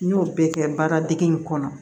N y'o bɛɛ kɛ baara dege in kɔnɔ